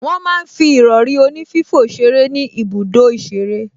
Wọ́n máa ń fi ìrọrí onífífò ṣeré ní ibùdó ìṣeré